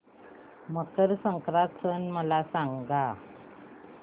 मकर संक्रांत सण मला सांगा